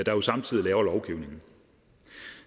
jo samtidig laver lovgivningen